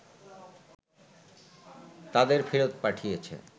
তাদের ফেরত পাঠিয়েছে